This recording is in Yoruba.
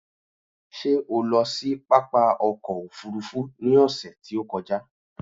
Ṣé o lọ sí pápá ọkò òfurufú ni ọ̀sè tí ó kọjá?